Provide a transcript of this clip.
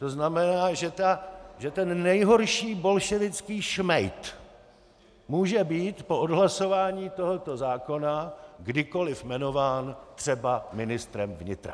To znamená, že ten nejhorší bolševický šmejd může být po odhlasování tohoto zákona kdykoliv jmenován třeba ministrem vnitra.